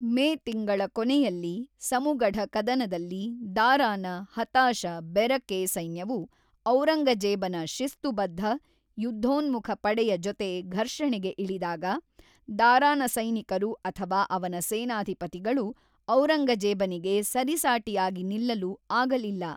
ಮೇ ತಿಂಗಳ ಕೊನೆಯಲ್ಲಿ ಸಮುಗಢ ಕದನದಲ್ಲಿ ದಾರಾನ ಹತಾಶ, ಬೆರಕೆ ಸೈನ್ಯವು ಔರಂಗಜೇಬನ ಶಿಸ್ತುಬದ್ಧ, ಯುದ್ಧೋನ್ಮುಖ ಪಡೆಯ ಜೊತೆ ಘರ್ಷಣೆಗೆ ಇಳಿದಾಗ, ದಾರಾನ ಸೈನಿಕರು ಅಥವಾ ಅವನ ಸೇನಾಧಿಪತಿಗಳು ಔರಂಗಜೇಬನಿಗೆ ಸರಿಸಾಟಿಯಾಗಿ ನಿಲ್ಲಲು ಆಗಲಿಲ್ಲ.